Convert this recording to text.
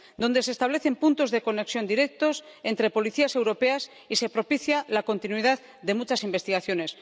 donde se establecen puntos de conexión directos entre Policías europeas y se propicia la continuidad de muchas investigaciones.